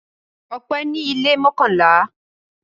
Ọpẹ́ ní ilé mọ́kànlá.